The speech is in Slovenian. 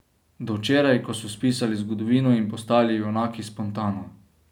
Do včeraj, ko so spisali zgodovino in postali junaki spontano.